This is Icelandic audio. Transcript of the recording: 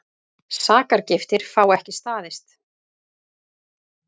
Sakargiftir fá ekki staðist